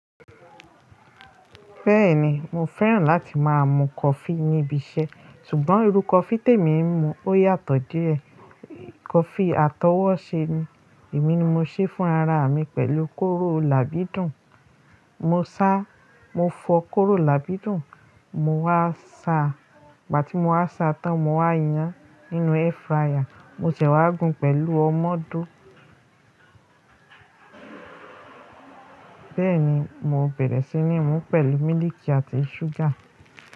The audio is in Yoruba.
Bẹ́ẹ̀ni mo fẹ́ràn láti máa mu coffee níbi iṣẹ́ ṣùgbọ́n irú coffee tèmi ń mu ó yàtọ̀ díẹ̀. Coffee atọwọ́ṣe ni. Èmi ni mo ṣe fún ara mi pẹ̀lú kóró làbidùn. Mo sá, mo fọ kóró làbidùn, mo wá sa, ìgbà tí mo wá sa tán mo wá yan nínú airfryer, mo sè wá gún pẹ̀lú ọmọ ọdọ̀. Bẹ́ẹ̀ ni mo bẹ̀rẹ̀ sí ní mú pẹ̀lú mílìkì àti ṣúgà.